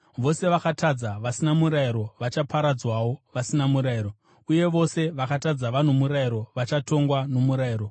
Vose vakatadza vasina murayiro vachaparadzwawo vasina murayiro, uye vose vakatadza vano murayiro vachatongwa nomurayiro.